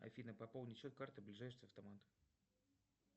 афина пополнить счет карты ближайший автомат